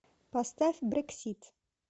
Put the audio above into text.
поставь брексит